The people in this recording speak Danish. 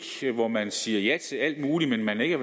hvor man siger ja til alt muligt men ikke